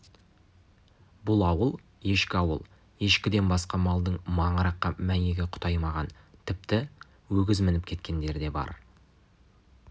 бұл ауыл ешкілі ауыл ешкіден басқа малдың маңыраққа мәйегі құтаймаған тіпті өгіз мініп кеткендері де бар